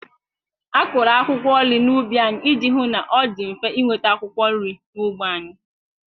A kụrụ akwụkwọ nri n'ubi anyị iji hụ na ọ dị mfe ịnweta akwụkwọ nri n'ógbè anyị.